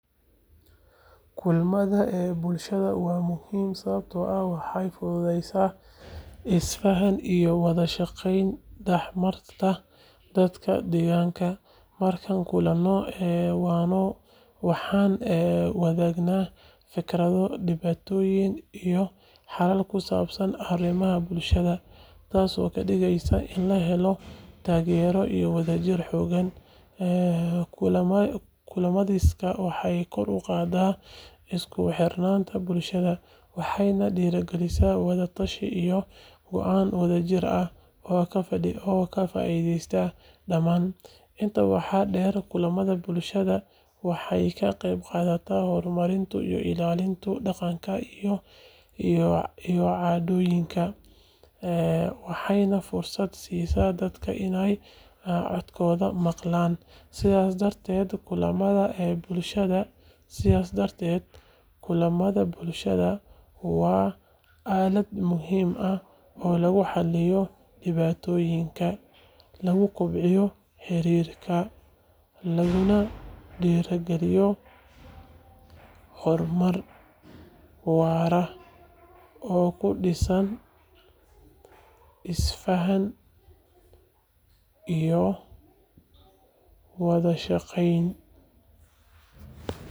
Kulamada bulshada waa muhiim sababtoo ah waxay fududeeyaan isfaham iyo wada shaqayn dhex marta dadka deegaanka. Markaan kulanno, waxaan wadaagnaa fikrado, dhibaatooyin, iyo xalal ku saabsan arrimaha bulshada, taasoo ka dhigaysa in la helo taageero iyo wadajir xoogan. Kulamadaasi waxay kor u qaadaan isku xirnaanta bulshada, waxayna dhiirrigeliyaan wada tashiyo iyo go'aano wadajir ah oo ka faa'iideysta dhammaan. Intaa waxaa dheer, kulamada bulshada waxay ka qayb qaataan horumarinta iyo ilaalinta dhaqanka iyo caadooyinka, waxayna fursad siiyaan dadka inay codkooda maqlaan. Sidaas darteed, kulamada bulshada waa aalad muhiim ah oo lagu xalliyo dhibaatooyinka, lagu kobciyo xiriirka, laguna dhiirrigeliyo horumar waara oo ku dhisan isfahan iyo wada shaqayn.